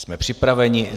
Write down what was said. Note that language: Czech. Jsme připraveni.